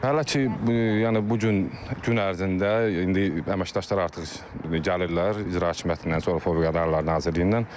Hələ ki, yəni bu gün gün ərzində indi əməkdaşlar artıq gəlirlər İcra Hakimiyyətindən, Fövqəladə Hallar Nazirliyindən.